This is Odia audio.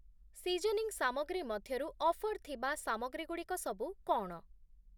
ସିଜନିଂ ସାମଗ୍ରୀ ମଧ୍ୟରୁ ଅଫର୍ ଥିବା ସାମଗ୍ରୀ‌ଗୁଡ଼ିକ ସବୁ କ’ଣ?